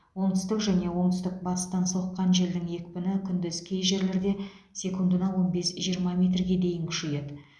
оңтүстік және оңтүстік батыстан соққан желдің екпіні күндіз кей жерлерде секундына он бес жиырма метрге дейін күшейеді